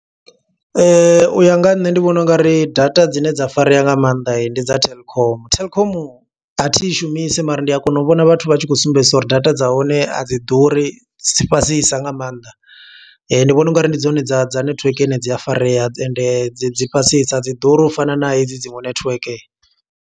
U ya nga ha nṋe ndi vhona ungari data dzine dza farea nga mannḓa, ndi dza telkom. Telkom a thi i shumisi mara ndi a kona u vhona vhathu vha tshi khou sumbedzisa uri data dza hone a dzi ḓuri, dzi fhasisa nga maanḓa. Ndi vhona ungari ndi dzone dza dza netiweke ine dzi a farea, ende dzi fhasisa a dzi ḓuri ufana na hedzi dziṅwe netiweke.